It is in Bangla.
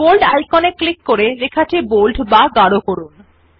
বোল্ড আইকন এ ক্লিক করে লেখাটি বোল্ড বা গাড় করুন